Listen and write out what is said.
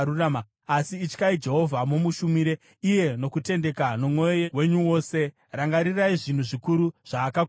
Asi ityai Jehovha, mumushumire iye nokutendeka, nomwoyo wenyu wose; rangarirai zvinhu zvikuru zvaakakuitirai.